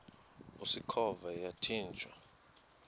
usikhova yathinjw a